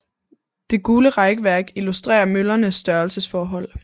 Det gule rækværk illustrerer møllernes størrelsesforhold